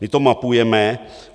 My to mapujeme.